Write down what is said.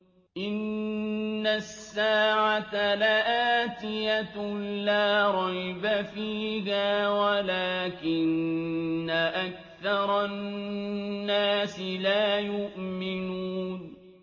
إِنَّ السَّاعَةَ لَآتِيَةٌ لَّا رَيْبَ فِيهَا وَلَٰكِنَّ أَكْثَرَ النَّاسِ لَا يُؤْمِنُونَ